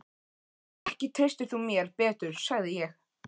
Ekki treystir þú mér betur, sagði ég.